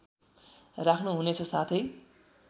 राख्नु हुनेछ साथै